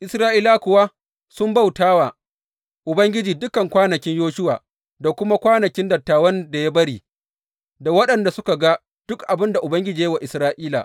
Isra’ilawa kuwa sun bauta wa Ubangiji dukan kwanakin Yoshuwa, da kuma kwanakin dattawan da ya bari, da waɗanda suka ga duk abin da Ubangiji ya yi wa Isra’ila.